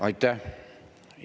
Aitäh!